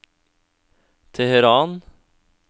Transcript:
Teheran